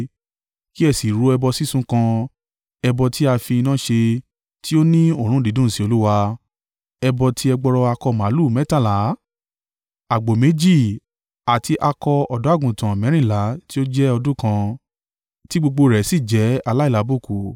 Kí ẹ sì rú ẹbọ sísun kan, ẹbọ tí a fi iná ṣe, tí ó ní òórùn dídùn sí Olúwa, ẹbọ tí ẹgbọrọ akọ màlúù mẹ́tàlá, àgbò méjì àti akọ ọ̀dọ́-àgùntàn mẹ́rìnlá tí ó jẹ́ ọdún kan, tí gbogbo rẹ̀ sì jẹ́ aláìlábùkù.